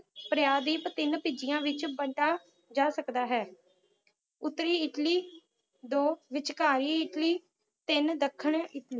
ਪ੍ਰਾਯਦੀਪ ਤਿੰਨ ਭਿਜੀਆਂ ਵਿਚ ਵੰਡਾਂ ਜਾ ਸਕਦਾ ਹੈ ਉਤਰੀ ਇੱਟਲੀ ਦੋ ਵਿਚਕਾਈ ਇੱਟਲੀ ਤਿੰਨ ਦੱਖਣ